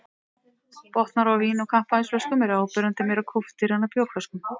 Botnar á vín- og kampavínsflöskum eru áberandi meira kúptir en á bjórflöskum.